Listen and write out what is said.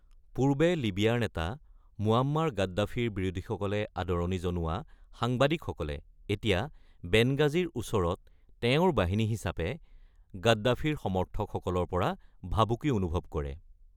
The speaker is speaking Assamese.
পূৰ্বে লিবিয়াৰ নেতা মুয়াম্মাৰ গাদ্দাফিৰ বিৰোধীসকলে আদৰণি জনোৱা সাংবাদিকসকলে এতিয়া বেনগাজীৰ ওচৰত তেওঁৰ বাহিনী হিচাপে গাদ্দাফিৰ সমৰ্থকসকলৰ পৰা ভাবুকি অনুভৱ কৰে।